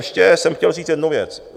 Ještě jsem chtěl říct jednu věc.